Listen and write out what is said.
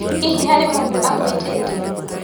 Hihi harĩ mũndũ agũĩtĩte?